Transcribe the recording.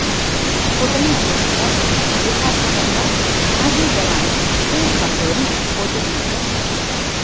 కూటమి అభ్యర్థిగా వ్యూహాత్మకంగా మాజీ జవాన్ తేజ్ బహదూర్ను పోటీకి నిలిపారు